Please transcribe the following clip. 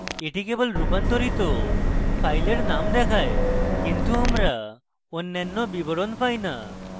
এটি কেবল রূপান্তরিত file names দেখায় কিন্তু আমরা অন্যান্য বিবরণ পাই names